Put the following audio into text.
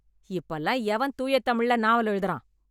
இப்ப எல்லாம் எவன் தூய தமிழ்ல நாவல் எழுதறான்?